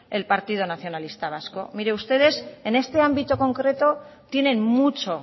el partido nacionalista vasco miren ustedes en este ámbito concreto tienen mucho